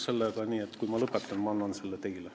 Kui ma lõpetan, siis ma annan selle teile.